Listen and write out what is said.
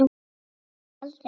Það var aldrei gert.